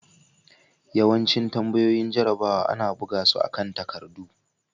Yawancin tambayoyin jarrabawa ana buga su akan takardu.